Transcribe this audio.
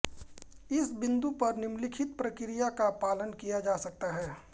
इस बिंदु पर निम्नलिखित प्रक्रिया का पालन किया जा सकता है